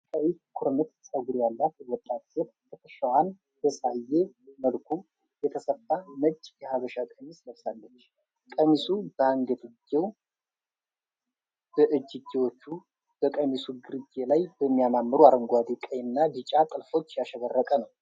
ቀይ ኩርምት ፀጉር ያላት ወጣት ሴት ትከሻዋን ባሳየ መልኩ የተሰፋ ነጭ የሀበሻ ቀሚስ ለብሳለች። ቀሚሱ በአንገትጌው፣ በእጅጌዎቹና በቀሚሱ ግርጌ ላይ በሚያማምሩ አረንጓዴ፣ ቀይና ቢጫ ጥልፎች ያሸበረቀ ነው።